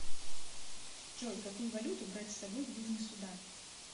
джой какую валюту брать с собой в южный судан